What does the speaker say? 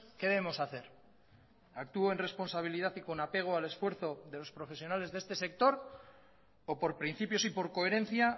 qué debemos hacer actúo en responsabilidad y con apego al esfuerzo de los profesionales de este sector o por principios y por coherencia